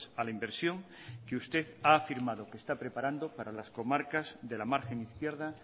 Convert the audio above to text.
a la inversión que usted ha afirmado que está preparando para las comarcas de la margen izquierda